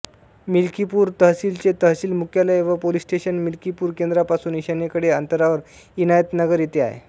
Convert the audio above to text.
मिल्कीपूर तहसीलचे तहसील मुख्यालय व पोलिस स्टेशन मिल्कीपूर केंद्रापासून ईशान्येकडे अंतरावर इनायतनगर येथे आहे